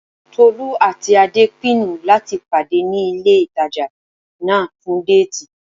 Tolú àti Adé pinnu láti pàdé ní ilé ìtajà náà fún déètì